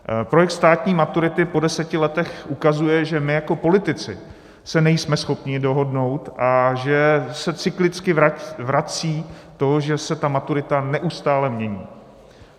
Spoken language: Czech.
Projekt státní maturity po deseti letech ukazuje, že my jako politici se nejsme schopni dohodnout a že se cyklicky vrací to, že se ta maturita neustále mění.